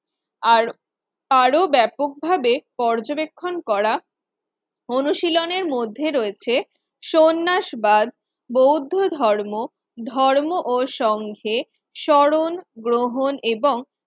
আর আরো ব্যাপকভাবে পর্যবেক্ষণ করা অনুশীলনের মধ্যে রয়েছে সন্ন্যাসবাদ বৌদ্ধ ধর্ম ধর্ম ও সংঘে স্মরণ গ্রহণ এবং